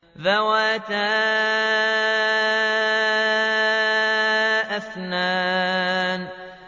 ذَوَاتَا أَفْنَانٍ